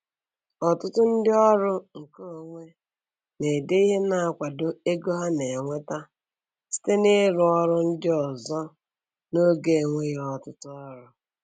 Ọtụtụ ndị ọrụ nke onwe na-ede ihe na-akwado ego ha na-enweta site n'ịrụ ọrụ ndị ọzọ n'oge enweghị ọtụtụ ọrụ.